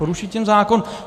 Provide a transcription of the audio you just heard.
Poruší tím zákon.